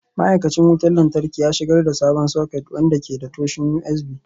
Ma'aikacin wutar lantarki ya shigar da sabon soket wanda ke da tashoshin USB.